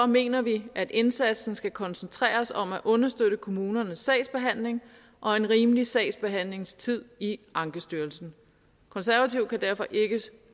mener vi at indsatsen skal koncentreres om at understøtte kommunernes sagsbehandling og en rimelig sagsbehandlingstid i ankestyrelsen konservative kan derfor ikke